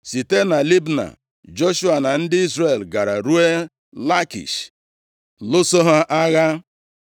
Site na Libna, Joshua na ndị Izrel gara ruo Lakish, lụso ha agha.